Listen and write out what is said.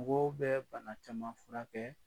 Mɔgɔw bɛ bana caman furakɛ